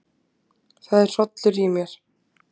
Það er hrollur í mér.